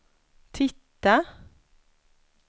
titta